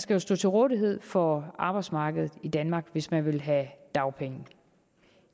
skal stå til rådighed for arbejdsmarkedet i danmark hvis man vil have dagpenge